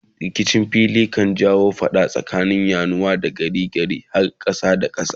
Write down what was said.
rikicin fili kan jawo fada tsakanin yanuwa har ma gari da gari kar har kasa da kasa